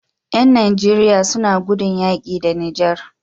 Yan nigeria suna gudun yaƙi da niger